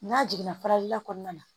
N'a jiginna faralila kɔnɔna na